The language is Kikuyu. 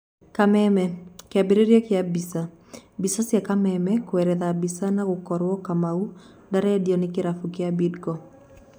(Kameme)Kĩambĩrĩria kĩa mbica, mbica cia Kameme kuerethera mbica na gũkoro Kamau ndarendio ni kĩrabũ kĩa Bidco.